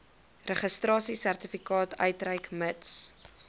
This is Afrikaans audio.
registrasiesertifikaat uitreik mits